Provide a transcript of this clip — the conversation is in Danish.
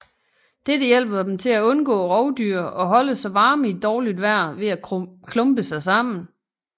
Dette hjælper dem til at undgå rovdyr og holde sig varme i dårligt vejr ved at klumpe sig sammen